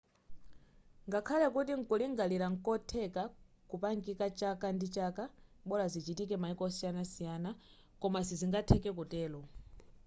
ngakhale kuti nkulingalira nkotheka kupangika chaka ndi chaka bola zichitike maiko osiyanasiyana koma sizingatheke kutero